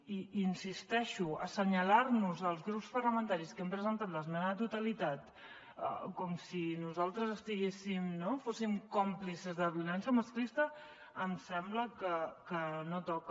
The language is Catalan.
i hi insisteixo assenyalar nos als grups parlamentaris que hem presentat l’esmena a la totalitat com si nosaltres fóssim còmplices de la violència masclista em sembla que no toca